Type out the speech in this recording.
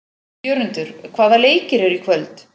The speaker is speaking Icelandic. Jörundur, hvaða leikir eru í kvöld?